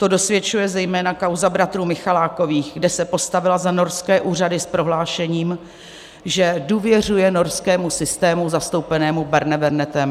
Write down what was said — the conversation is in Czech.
To dosvědčuje zejména kauza bratrů Michalákových, kde se postavila za norské úřady s prohlášením, že důvěřuje norskému systému zastoupenému Barnevernetem.